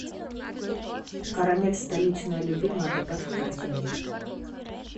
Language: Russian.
карамель столичная любимая добавь в корзину